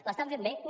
l’està fent bé no